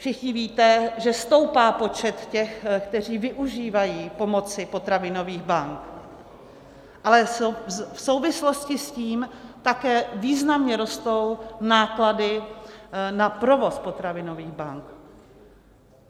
Všichni víte, že stoupá počet těch, kteří využívají pomoci potravinových bank, ale v souvislosti s tím také významně rostou náklady na provoz potravinových bank.